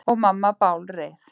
Og mamma bálreið.